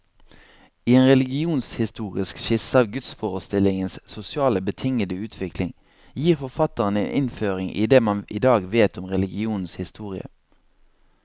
I en religionshistorisk skisse av gudsforestillingenes sosialt betingede utvikling, gir forfatteren en innføring i det man i dag vet om religionens historie.